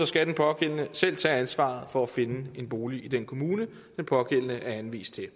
skal den pågældende selv tage ansvaret for at finde en bolig i den kommune den pågældende er anvist til